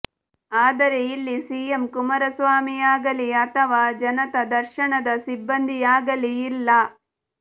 ಆದರೆ ಇಲ್ಲಿ ಸಿಎಂ ಕುಮಾರಸ್ವಾಮಿ ಆಗಲಿ ಅಥವಾ ಜನತಾ ದರ್ಶನದ ಸಿಬ್ಬಂದಿಯಾಗಲಿ ಇಲ್ಲ